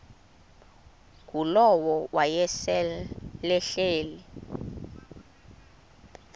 ngulowo wayesel ehleli